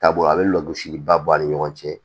Taabolo a bɛ lgosi ba bɔ a ni ɲɔgɔn cɛ